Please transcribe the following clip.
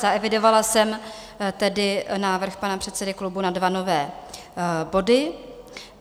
Zaevidovala jsem tedy návrh pana předsedy klubu na dva nové body.